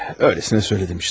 Öylesine söyledim işte.